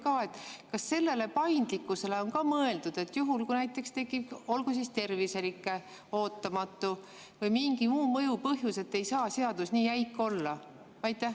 Kas on mõeldud vajalikule paindlikkusele, et juhul, kui näiteks tekib terviserike või mingi muu mõjuv põhjus, ei saa seadus nii jäik olla?